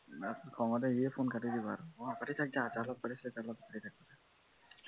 খঙতে সিয়ে phone কাটি দিব আৰু অ পাতি যা যাৰ লগত পাতিছিলি তাৰ লগত পাতি থাক